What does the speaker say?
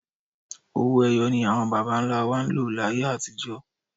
Owó ẹyọ ni àwọn bàbá ńlá wa ń lò láyé àtijọ́